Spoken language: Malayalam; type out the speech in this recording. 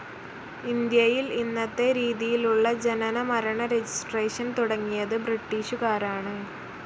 ഇന്ത്യയിൽ ഇന്നത്തെ രീതിയിലുള്ള ജനനമരണ രജിസ്ട്രേഷൻ തുടങ്ങിയത് ബ്രിട്ടീഷുകാരാണ്.